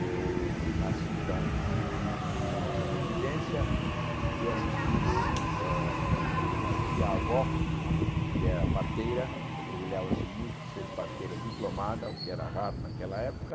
Eu nasci então na nossa residência e fui assistido hã por uma tia-avó que era parteira, orgulhava-se muito de ser parteira diplomada, o que era raro naquela época,